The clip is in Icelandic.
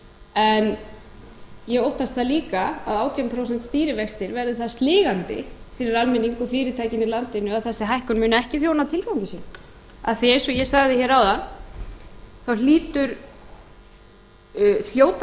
en ég óttast það líka að átján prósent stýrivextir verði það sligandi fyrir almenning og fyrirtækin í landinu að þessi hækkun muni ekki þjóna tilgangi sínum af því eins og ég sagði hér áðan þá hljóta